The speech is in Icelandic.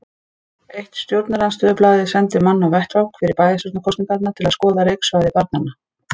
Eitt stjórnarandstöðublaðið sendi mann á vettvang fyrir bæjarstjórnarkosningarnar til að skoða leiksvæði barnanna.